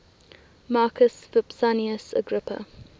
marcus vipsanius agrippa